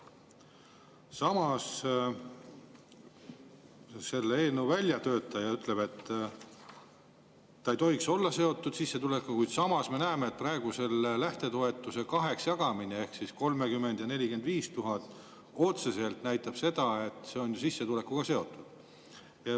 Samas, eelnõu väljatöötaja küll ütleb, et ei tohiks olla seotud sissetulekuga, kuid me näeme, et praegu selle lähtetoetuse kaheks jagamine, 30 000 ja 45 000, otseselt näitab, et need on sissetulekuga seotud.